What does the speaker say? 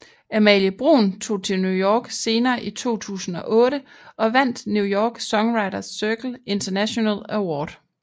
Amalie Bruun tog til New York senere i 2008 og vandt New York songwriters circle international award